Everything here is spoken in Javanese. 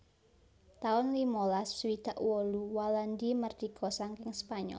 taun limalas swidak wolu Walandi mardika saking Spanyol